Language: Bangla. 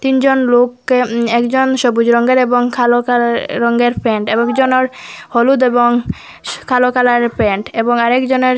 তিনজন লোককে উ একজন সবুজ রঙ্গের এবং খালো কালারে রঙ্গের প্যান্ট আরেকজনার হলুদ এবং শ কালো কালারের প্যান্ট এবং আরেকজনার --